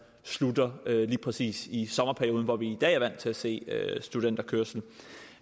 slutter lige præcis i sommerperioden hvor vi i dag er vant til at se studenterkørsel